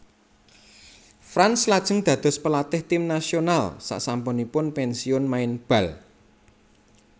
Franz lajeng dados pelatih tim nasional sasampunipun pensiun main bal